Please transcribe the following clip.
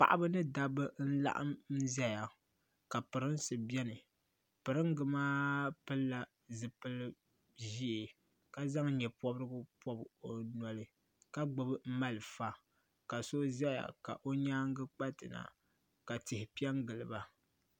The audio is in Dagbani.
Paɣaba ni dabba n laɣim zaya ka pirinsi biɛni piringa maa pilila zipil'ʒee ka zaŋ nyepobrigu bobi o noli ka gbibi malifa ka so zaya ka o nyaanga kpatina ka tihi piɛngiliba.